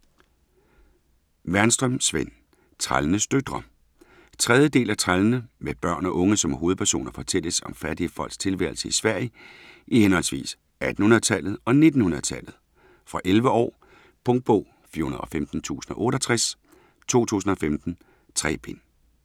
Wernström, Sven: Trællenes døtre 3. del af Trællene. Med børn og unge som hovedpersoner fortælles om fattige folks tilværelse i Sverige i henholdsvis 1800-tallet og 1900-tallet. Fra 11 år. Punktbog 415068 2015. 3 bind.